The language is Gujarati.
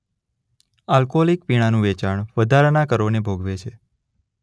આલ્કોહોલિક પીણાનું વેચાણ વધારાના કરોને ભોગવે છે.